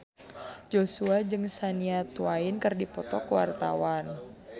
Joshua jeung Shania Twain keur dipoto ku wartawan